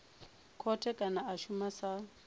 khothe kana a shuma sa